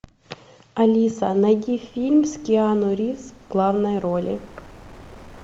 алиса найди фильм с киану ривз в главной роли